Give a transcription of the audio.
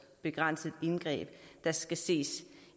begrænset indgreb der skal ses